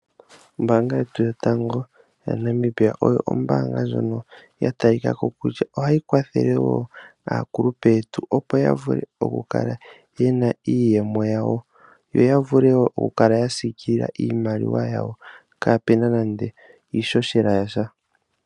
Ombaanga yetu yotango yaNamibia oyo ombaanga ndjono ya talika ko kutya, oha yi kwathele woo akulupe yetu, opo ya vule oku kala yena iiyemo yawo, yo ya vule woo oku kala ya siikilila iimaliwa yawo kaapuna nande iihohela yasha.